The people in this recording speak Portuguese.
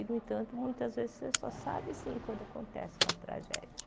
E, no entanto, muitas vezes você só sabe assim quando acontece uma tragédia.